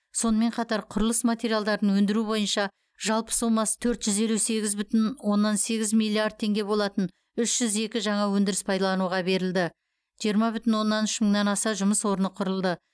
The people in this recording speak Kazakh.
сонымен қатар құрылыс материалдарын өндіру бойынша жалпы сомасы төрт жүз елу сегіз бүтін оннан сегіз миллиард теңге болатын үш жүз екі жаңа өндіріс пайдалануға берілді жиырма бүтін оннан үш мыңнан аса жұмыс орны құрылды